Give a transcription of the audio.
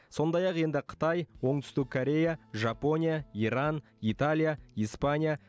сондай ақ енді қытай оңтүстік корея жапония иран италия испания